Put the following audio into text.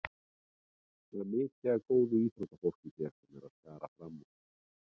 Það er mikið af góðu íþróttafólki hérna sem er að skara fram úr.